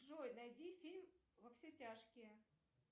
джой найди фильм во все тяжкие